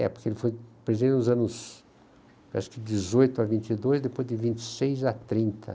É, porque ele foi, por exemplo, nos anos, acho que dezoito a vinte e dois, depois de vinte e seis a trinta.